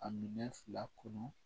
A minɛ fila kɔnɔ